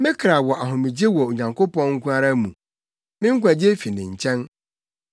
Me kra wɔ ahomegye wɔ Onyankopɔn nko ara mu; me nkwagye fi ne nkyɛn.